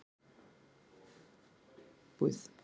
Þetta hefur verið óhemju skemmtilegt sumar.